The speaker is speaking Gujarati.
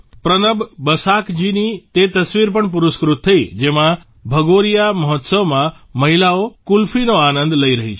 પ્રનબ બસાકજીની તે તસવીર પણ પુરસ્કૃત થઇ જેમાં ભગોરીયા મહોત્સવમાં મહિલાઓ કુલ્ફીનો આનંદ લઇ રહી છે